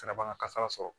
Sɛnɛ b'an ka kasara sɔrɔ